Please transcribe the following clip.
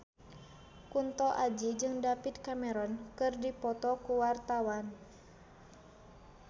Kunto Aji jeung David Cameron keur dipoto ku wartawan